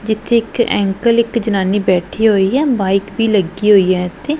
ਜਿੱਥੇ ਇੱਕ ਅੰਕਲ ਇੱਕ ਜਨਾਨੀ ਬੈਠੀ ਹੋਈ ਹੈ ਬਾਇਕ ਵੀ ਲੱਗੀ ਹੋਈ ਹੈ ਇੱਥੇ।